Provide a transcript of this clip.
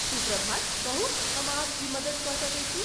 शुभ प्रभात , कहू, हम अहाँक की मदति कऽ सकैत छी?